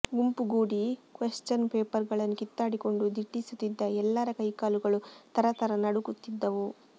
ಗುಂಪುಗೂಡಿ question ಪೇಪರ್ಗಳನ್ನು ಕಿತ್ತಾಡಿಕೊಂಡು ದಿಟ್ಟಿಸುತ್ತಿದ್ದ ಎಲ್ಲರ ಕೈಕಾಲುಗಳೂ ಥರಥರ ನಡುಗುತ್ತಿದ್ದವು